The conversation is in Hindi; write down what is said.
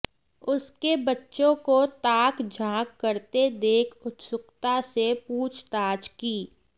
उसके बच्चों को ताक झांक करते देख उत्सुकता से पूछताछ की